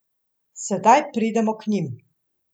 Sedaj pridemo k njim.